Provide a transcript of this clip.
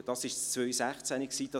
Dies war das Jahr 2016.